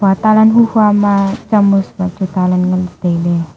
talan hu hua ma chamus ma chu ta lan ngan ley tailey.